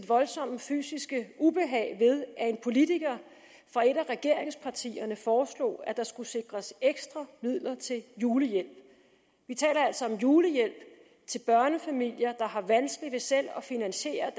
voldsomme fysiske ubehag ved at en politiker fra et af regeringspartierne foreslog at der skulle sikres ekstra midler til julehjælp vi taler altså om julehjælp til børnefamilier der har vanskeligt ved selv at finansiere